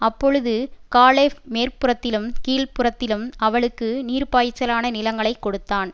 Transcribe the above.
அப்பொழுது காலேப் மேற்புறத்திலும் கீழ்ப்புறத்திலும் அவளுக்கு நீர்ப்பாய்ச்சலான நிலங்களைக் கொடுத்தான்